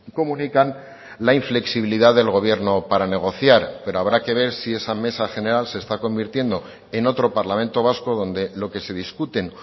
comunican la inflexibilidad del gobierno para negociar pero habrá que ver sí esa mesa general se está convirtiendo en otro parlamento vasco donde lo que se discuten